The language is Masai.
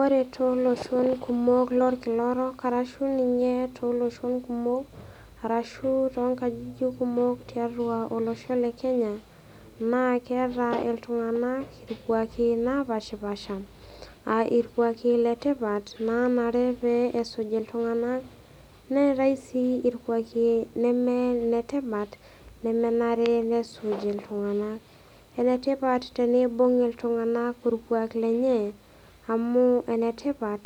Ore tooloshon kumok lolkila orok, arashu ninye tooloshon kumok, arashu too nkajijik kumok tiatua olosho le Kenya, naa keata iltung'anak ilkwaaki oopashipaasha, aa ilkwaaki naa letipat, naanare pee esuj iltung'ana, neatai sii ilkwaaki lemee iletipat lemenare nesuj iltung'anak. Enetipat teneibung' iltung'ana ilkwaaki lenye, amu enetipat